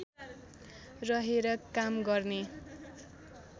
रहेर काम गर्ने